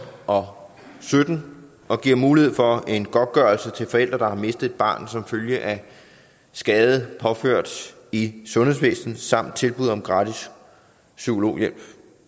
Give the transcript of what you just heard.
og sytten og giver mulighed for en godtgørelse til forældre der har mistet et barn som følge af skade påført i sundhedsvæsenet samt tilbud om gratis psykologhjælp